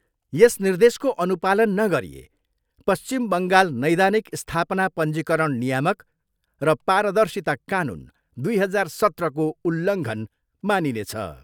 यस निर्देशको अनुपालन नगरिए पश्चिम बङ्गाल नैदानिक स्थापना पञ्जीकरण नियामक र पारदर्शिता कानुन दुई हजार सत्रको उल्लङ्घन मानिनेछ।